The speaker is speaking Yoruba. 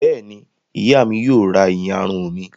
Bẹ́ẹ̀ ni, ìyá mi yóò ra ìyarun mi.